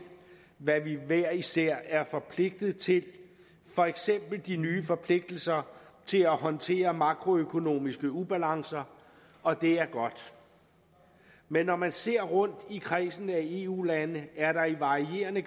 hvad vi hver især er forpligtet til for eksempel de nye forpligtelser til at håndtere makroøkonomiske ubalancer og det er godt men når man ser rundt i kredsen af eu lande er der i varierende